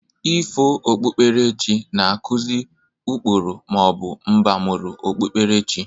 Ifo okpukperechi na-akụzị ụkpụrụ ma ọ bụ mbamụru okpukperechi.